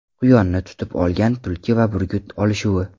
Quyonni tutib olgan tulki va burgut olishuvi .